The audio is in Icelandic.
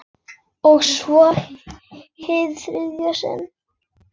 Og svo- hið þriðja sinn.